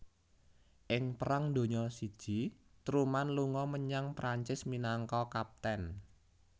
Ing Perang Donya I Truman lunga menyang Prancis minangka Kapten